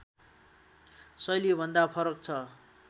शैलीभन्दा फरक छ